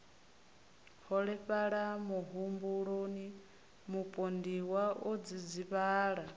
holefhala muhumbuloni mupondiwa o dzidzivhala